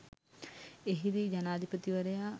එහිදී ජනාධිපතිවරයා